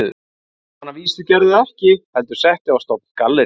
Sem hann að vísu gerði ekki, heldur setti á stofn gallerí